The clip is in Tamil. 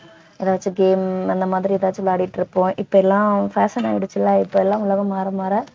எதாச்சும் game உ அந்த மாதிரி ஏதாச்சும் விளையாடிட்டு இருப்போம் இப்பலாம் fashion ஆயிடுச்சுல இப்பலாம் உலகம் மாற மாற